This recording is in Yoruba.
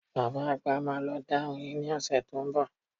Bàbá àgbà máa lọ dá oyin ní ọ̀sẹ̀ tó ń bọ̀